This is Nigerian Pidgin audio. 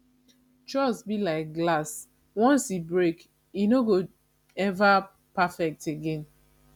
trust be like glass once e break e no go ever perfect again